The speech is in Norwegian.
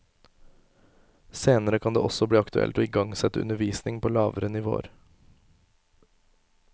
Senere kan det også bli aktuelt å igangsette undervisning på lavere nivåer.